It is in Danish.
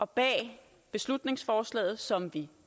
bag beslutningsforslaget som vi